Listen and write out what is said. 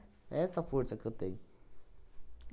É essa força que eu tenho.